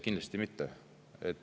Kindlasti mitte.